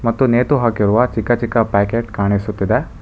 ಮತ್ತು ನೇತು ಹಾಕಿರುವ ಚಿಕ್ಕ ಚಿಕ್ಕ ಪ್ಯಾಕೆಟ್ ಕಾಣಿಸುತ್ತಿದೆ.